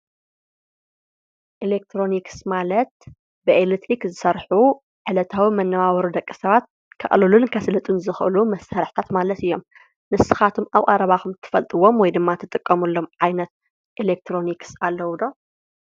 ኤሌትሪኒክስ ማለት ብኤሌትሪክ ዝስርሑ ዕለታዊ መነባበሮ ደቂ ሰባት ከዕልሉን ከስልጡን ዝክእሉ መሳርሕታት ማለት እዬም። ንስካትኩም አብ ቀረባኩም እትፈልጥዎ ወይ ድማ እትጥቀምሉን ዓይነት ኤሌትሮኒክስ አለው ዶ?